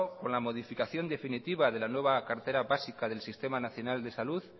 con la modificación definitiva de la nueva cartera básica del sistema nacional de salud